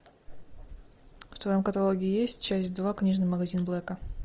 в твоем каталоге есть часть два книжный магазин блэка